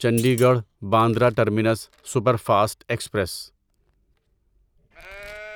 Chandigarh Bandra terminus superfast express